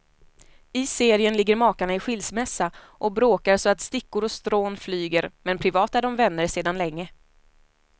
I serien ligger makarna i skilsmässa och bråkar så att stickor och strån flyger, men privat är de vänner sedan länge.